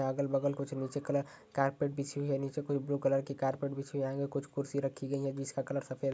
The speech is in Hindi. अगल बगल कुछ नीचे कलर कारपेट बिछी हुई है। नीचे कुछ ब्रू कलर की कारपेट बिछी हुई है आंगे कुछ कुर्सी रखी गईं है जिसका कलर सफेद --